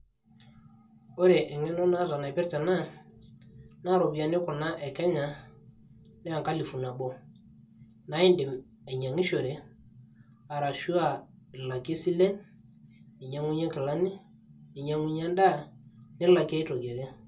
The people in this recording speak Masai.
ore eng'eno naata naipirta ena naa iropiyiani kuna e kenya nee enkalifu nabo naa indim ainyiang'ishore arashu aa ilakie isilen ninyang'unyie inkilani ninyang'unyie endaa nilakie aitoki ake.